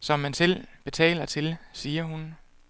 som man selv betaler til, siger hun.